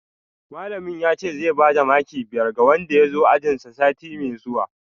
Malamin yace zai bada maki biyar ga wanda ya zo ajinsa sati mai zuwa